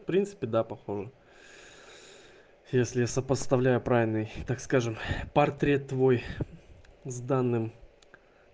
в принципе да похожа если я сопоставляю правильный так скажем портрет твой с данным